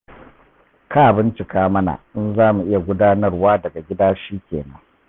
Ka bincika mana in za mu iya gudanarwa daga gida shi kenan.